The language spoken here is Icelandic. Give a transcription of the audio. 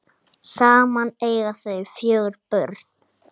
Saman eiga þau fjögur börn